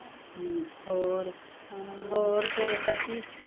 ਹੂੰ ਹੋਰ, ਹੋਰ ਫੇਰ ਚਾਚੀ